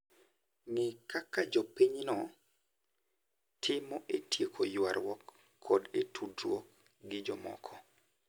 Ng'e kaka jopinyno timo e tieko ywaruok koda e tudruok gi jomoko.